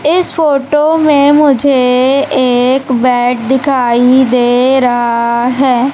इस फोटो में मुझे एक बेड दिखाई दे रहा है।